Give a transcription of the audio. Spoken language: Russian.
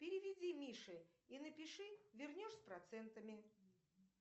переведи мише и напиши вернешь с процентами